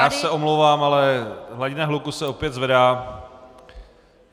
Já se omlouvám, ale hladina hluku se opět zvedá.